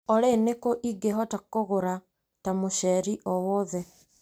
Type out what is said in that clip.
Olĩ nĩkũ ingĩhota kũgũra ta mũceri o wothe?